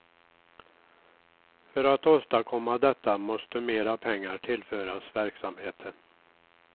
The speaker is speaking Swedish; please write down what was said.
För att åstadkomma detta måste mera pengar tillföras verksamheten.